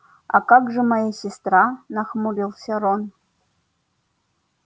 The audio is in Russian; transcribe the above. а как же моя сестра нахмурился рон